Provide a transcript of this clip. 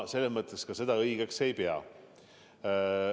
Seda ma õigeks ei pea.